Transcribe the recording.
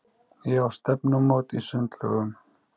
Ég á stefnumót í sundlaugunum.